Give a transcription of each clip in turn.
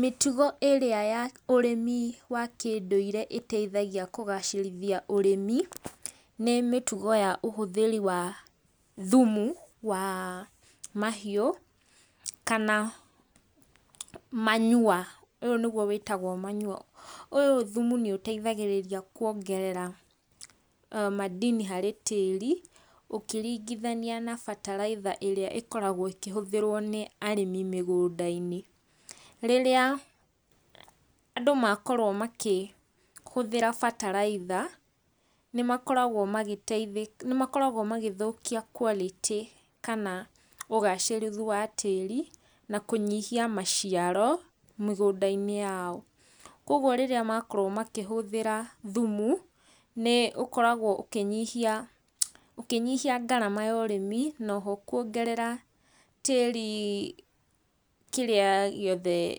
Mĩtugo ĩrĩa ya ũrĩmi wa kĩndũire ĩteithagia kũgacĩrithia ũrĩmi, nĩ mĩtugo ya ũhũthĩri wa thumu wa mahiũ kana manure ũyũ nĩguo wĩtagwo manure. Ũyũ thumu nĩũteithagĩrĩria kuongerera madini harĩ tĩri ũkĩringithania na bataraitha ĩrĩa ĩkoragwo ĩkĩhũthĩrwo nĩ arĩmi mĩgũnda-inĩ. Rĩrĩa andũ makorwo makĩhũtĩra bataraitha nĩ makoragwo magĩteithĩka, nĩ makoragwo magĩthũkia quality kana ũgacĩrĩru wa tĩri na kũnyihia maciario mĩgũnda-inĩ yao. Koguo rĩrĩa makorwo makĩhũthĩra thumu nĩ ũkoragwo ũkĩnyihia ũkĩnyihia ngarama ya ũrĩmi, na oho kuongerera tĩri kĩrĩa gĩothe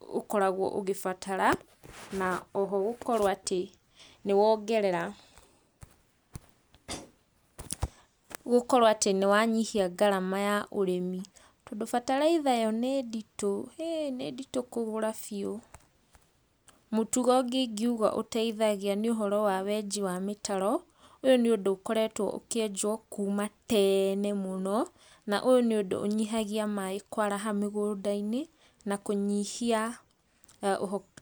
ũkoragwo ũgĩbatara, na oho gũkorwo atĩ nĩ wongerera, gũkorwo atĩ nĩ wanyihia ngarama ya ũrĩmi. Tondũ bataritha yo nĩ nditũ, nĩ nditũ kũgũra biũ. Mũtugo ũngĩ ingiuga ũteithagia nĩ ũhoro wa wenji wa mĩtaro. Ũyũ nĩ ũndũ ũkoretwo ũkĩenjwo kuma tene mũno, na ũyũ nĩ ũndũ ũnyihagia maĩ kwaraha mũgũnda-inĩ na kũnyihia ũhoro ũcio.